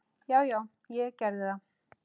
Já já, ég gerði það.